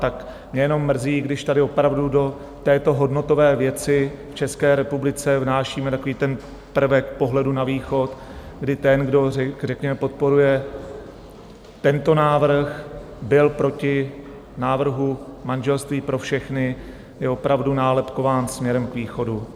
Tak mě jenom mrzí, když tady opravdu do této hodnotové věci v České republice vnášíme takový ten prvek pohledu na východ, kdy ten, kdo řekněme podporuje tento návrh, byl proti návrhu manželství pro všechny, je opravdu nálepkován směrem k východu.